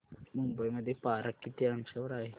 मुंबई मध्ये पारा किती अंशावर आहे